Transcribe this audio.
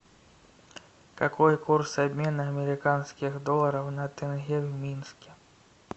какой курс обмена американских долларов на тенге в минске